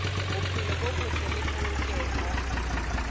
bophelo bo botle le polokeho